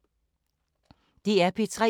DR P3